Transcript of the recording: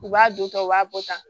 U b'a don tan u b'a bɔ tan